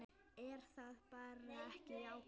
Er það bara ekki jákvætt?